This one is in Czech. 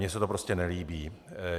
Mně se to prostě nelíbí.